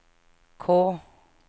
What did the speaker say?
K